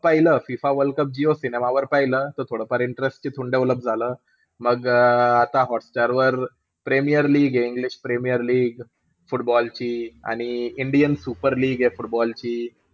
पाहिलं. FIFA world cup Jio सिनेमावर पाहिलं त थोडंफार interest तिथून develop झाला. मग अं आता हॉटस्टारवर प्रीमियर लीग आहे, इंग्लिश प्रीमियर लीग football ची. आणि इंडियन सुपर लीग आहे football ची.